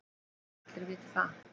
Ég held að allir viti það.